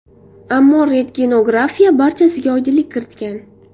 Ammo rentgenografiya barchasiga oydinlik kiritgan.